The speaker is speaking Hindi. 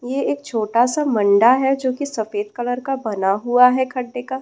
यह एक छोटा सा है जो की सफ़ेद कलर से बना हुआ है का।